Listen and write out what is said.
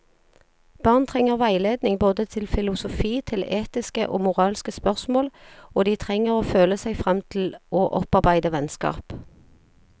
Barn trenger veiledning både til filosofi, til etiske og moralske spørsmål, og de trenger å føle seg frem til å opparbeide vennskap.